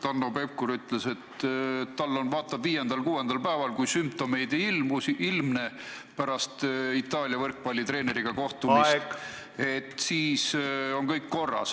Hanno Pevkur ütles, et ta vaatab viiendal-kuuendal päeval pärast Itaalia võrkpallitreeneriga kohtumist, et kui sümptomeid ei ilmne, siis on kõik korras.